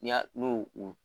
N' y'a n'u u